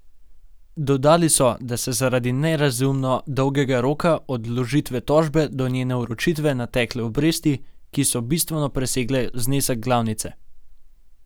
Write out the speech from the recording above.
Dodali so, da so se zaradi nerazumno dolgega roka od vložitve tožbe do njene vročitve natekle obresti, ki so bistveno presegle znesek glavnice.